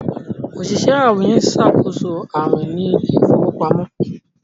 Oṣiṣẹ awin nṣakoso awin ní Ilé ìfowópamọ́